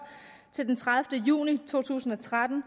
til den tredivete juni to tusind og tretten